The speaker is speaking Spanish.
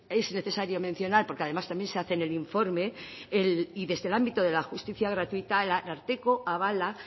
es necesario mencionar porque además también se hace en el informe y desde el ámbito de la justicia gratuita el ararteko avala